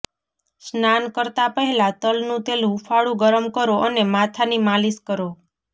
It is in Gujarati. સ્નાન કરતા પહેલા તલનું તેલ હુંફાળુ ગરમ કરો અને માથાની માલિશ કરો